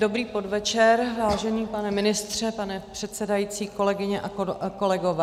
Dobrý podvečer, vážený pane ministře, pane předsedající, kolegyně a kolegové.